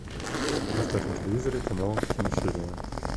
поставь на телевизоре канал киносерия